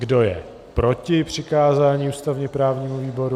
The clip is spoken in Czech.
Kdo je proti přikázání ústavně-právnímu výboru?